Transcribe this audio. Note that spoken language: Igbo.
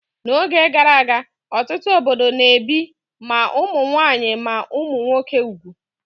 N'oge gara aga, ọtụtụ obodo na-ebi ma ụmụ nwaanyị ma ụmụ nwoke úgwù